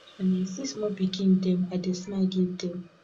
wen i see small pikin dem i dey smile give dem